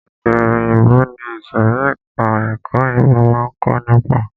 Èdè òyìnbó ni ìsòrí ẹka ẹ̀kọ́ òyìnbó máa ń kó nípa.